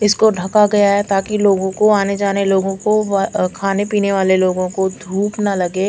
इस को ढका गया है ताकि लोगो को आने जाने लोगो को व खाने पिने वाले लोगो को धुप ना लगे।